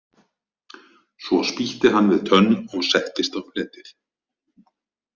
Svo spýtti hann við tönn og settist á fletið.